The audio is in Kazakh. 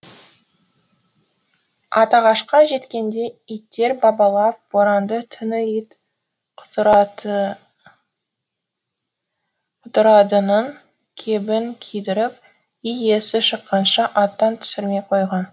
атағашқа жеткенде иттер абалап боранды түні ит құтырадының кебін кидіріп үй иесі шыққанша аттан түсірмей қойған